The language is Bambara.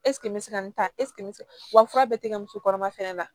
n bɛ se ka nin ta wa fura bɛɛ tɛ kɛ musokɔnɔma fana na